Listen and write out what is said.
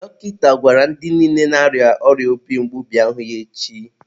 dọkịta gwara ndị niile na-arịa obi mgbu bịa hụ ya echi.